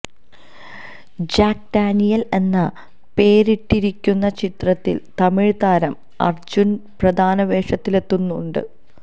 Jack Daniel എന്ന് പേരിട്ടിരിക്കുന്ന ചിത്രത്തില് തമിഴ് താരം അര്ജുന് പ്രധാന വേഷത്തില് എത്തുന്നുണ്ട്